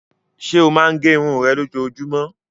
Ṣé ó máa gẹ irun rẹ lójoojúmọ́?